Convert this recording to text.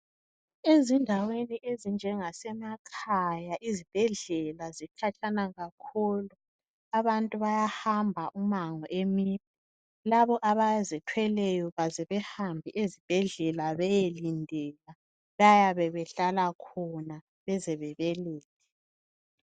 Ezindaweni ezinjengasemakhaya izibhedlela zikhatshana kakhulu. Abantu bayahamba ummango emide. Labo abazithweleyo baze behambe ezibhedlela beye lindela. Bayabe behlala khona, bezebabelethe.